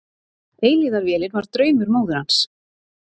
Eilífðarvélin var draumur móður hans.